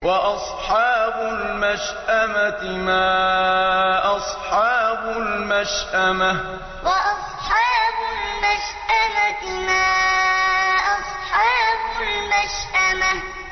وَأَصْحَابُ الْمَشْأَمَةِ مَا أَصْحَابُ الْمَشْأَمَةِ وَأَصْحَابُ الْمَشْأَمَةِ مَا أَصْحَابُ الْمَشْأَمَةِ